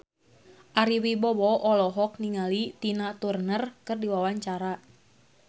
Ari Wibowo olohok ningali Tina Turner keur diwawancara